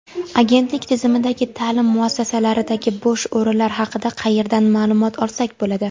Agentlik tizimidagi ta’lim muassasalaridagi bo‘sh o‘rinlar haqida qayerdan ma’lumot olsak bo‘ladi?.